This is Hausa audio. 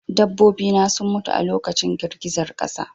Dabbobi na sun mutu a lokacin girgizar ƙasa